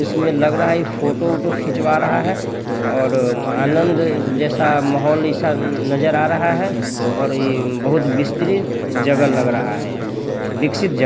इस में लग रहा है फोटो वोटो खिचवा रहा है और आनंद जैसा माहौल ऐसा नज़र आ रहा है और ये बहुत विस्तरित जगह लग रहा है विकसित जगह--